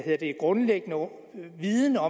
er